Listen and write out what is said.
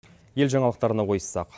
ел жаңалықтарына ойыссақ